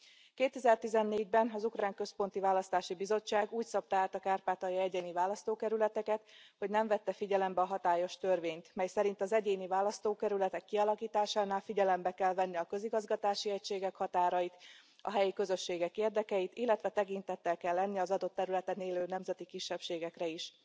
2014 ben az ukrán központi választási bizottság úgy szabta át a kárpátaljai egyéni választókerületeket, hogy nem vette figyelembe a hatályos törvényt, mely szerint az egyéni választókerületek kialakításánál figyelembe kell venni a közigazgatási egységek határait, a helyi közösségek érdekeit, illetve tekintettel kell lenni az adott területen élő nemzeti kisebbségekre is.